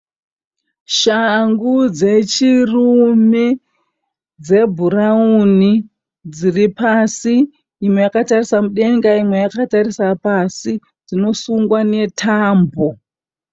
Shangu dzechirume dzebhurawuni dziri pasi. Imwe yakatarisa mudenga imwe yakatarisa pasi. Dzinosungwa netambo.